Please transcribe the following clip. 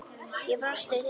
Ég brosi til hennar.